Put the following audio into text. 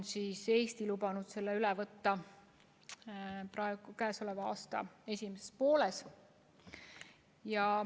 Eesti on lubanud selle direktiivi üle võtta selle aasta esimeses pooles.